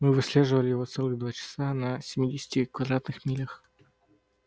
мы выслеживали его целых два часа на семидесяти квадратных милях